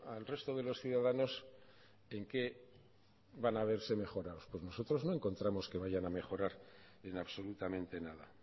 al resto de los ciudadanos en qué van a verse mejorados pues nosotros no encontramos que vayan a mejorar en absolutamente nada